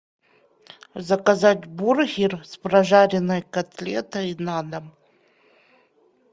заказать бургер с прожаренной котлетой на дом